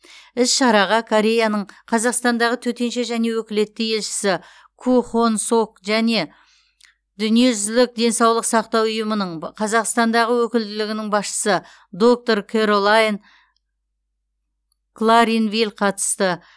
іс шараға кореяның қазақстандағы төтенше және өкілетті елшісі ку хонг сок және дүниежүзілік денсаулық сақтау ұйымының қазақстандағы өкілділігінің басшысы доктор кэролайн кларинвиль қатысты